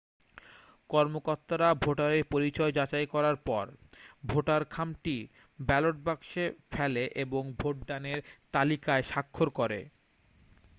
কর্মকর্তারা ভোটারের পরিচয় যাচাই করার পর ভোটার খামটি ব্যালট বাক্সে ফেলে এবং ভোটদানের তালিকায় স্বাক্ষর করে